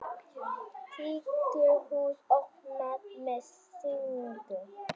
Tískuhús opnað með sýningu